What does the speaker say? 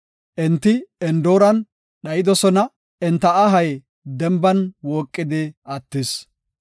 Enti Endooran dhayidosona; enta ahay denban wooqidi attis.